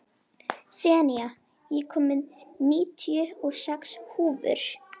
Senía, ég kom með níutíu og sex húfur!